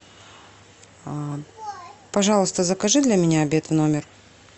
пожалуйста закажи для меня обед в номер